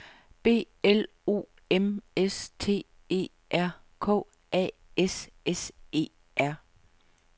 B L O M S T E R K A S S E R